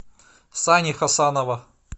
сани хасанова